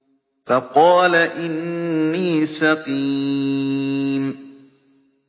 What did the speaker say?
فَقَالَ إِنِّي سَقِيمٌ